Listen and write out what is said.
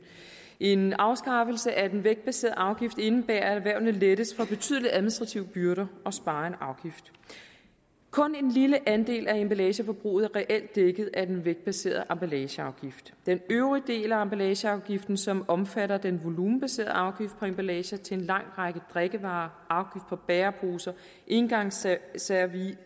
en afskaffelse af den vægtbaserede afgift indebærer at erhvervene lettes for betydelige administrative byrder og sparer en afgift kun en lille andel af emballageforbruget er reelt dækket af den vægtbaserede emballageafgift den øvrige del af emballageafgiften som omfatter den volumenbaserede afgift på emballager til en lang række drikkevarer på bæreposer engangsservice